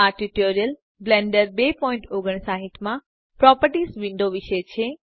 આ tutorial Blender 259 માં properties window વિશે છે